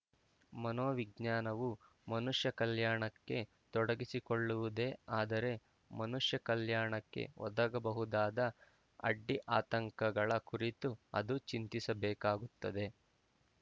ಮನೋವಿಜ್ಞಾನವು ಮನುಷ್ಯ ಕಲ್ಯಾಣಕ್ಕೆ ತೊಡಗಿಸಿಕೊಳ್ಳುವುದೇ ಆದರೆ ಮನುಷ್ಯ ಕಲ್ಯಾಣಕ್ಕೆ ಒದಗಬಹುದಾದ ಅಡ್ಡಿ ಆತಂಕಗಳ ಕುರಿತೂ ಅದು ಚಿಂತಿಸಬೇಕಾಗುತ್ತದೆ